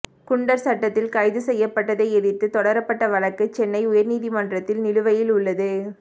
குண்டர் சட்டத்தில் கைது செய்யப்பட்டதை எதிர்த்து தொடரப்பட்ட வழக்கு சென்னை உயர் நீதிமன்றத்தில் நிலுவையில் உள்ளது